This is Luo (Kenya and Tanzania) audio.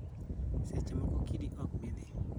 Seche moko kidi ok bi dhi.